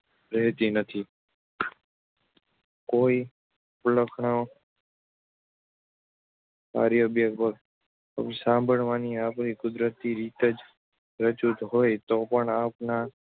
રહેતી નથી. કોઈ અપલખનો સાંભળવાણી આપણી કુદરતી રીતે જ રુચતી હોય તોપણ આપણા